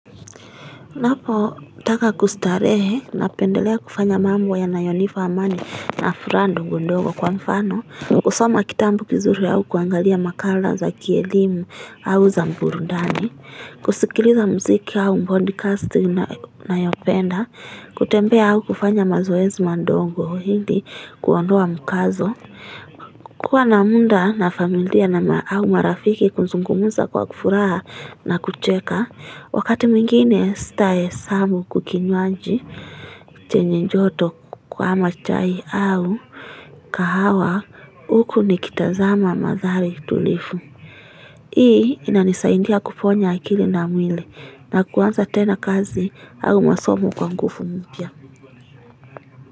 Napotaka kustarehe napendelea kufanya mambo yanayo nipa amani na furaha ngondogo kwa mfano kusoma kitabu kizuri au kuangalia makala za kielimu au za burudani kusikiliza mziki au podcast nayopenda kutembea au kufanya mazoezi madongo ili kuondoa mkazo kuwa na muda na familia na au marafiki kuzungumuza kwa furaha na kucheka Wakati mwingine sitahesabu kwa kinywaji chenye joto kwa ama chai au kahawa huku nikitazama mandhari tulivu Hii inanisaidia kuponya akili na mwili na kuanza tena kazi au masomo kwa nguvu mpya.